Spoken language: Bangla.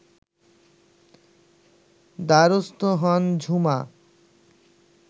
দ্বারস্থ হন ঝুমা